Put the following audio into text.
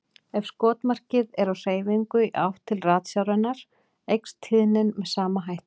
Ef skotmarkið er á hreyfingu í átt til ratsjárinnar eykst tíðnin með sama hætti.